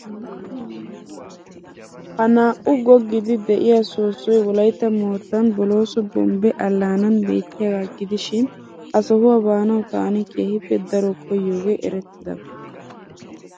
Ha naa"u goggiiddi de'iya soossoy wolaytta moottan bolooso Bombbe allaanan beettiyagaa gidishin ha sohuwa baanawu taani keehippe daro koyyiyogee erettidaba.